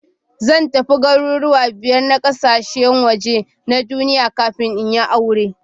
Zan tafi garuruwa biyar na kasashen waje na duniya kafin in yi aure.